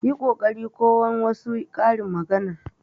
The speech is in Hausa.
Yi kokari kowan wasu karin maganar.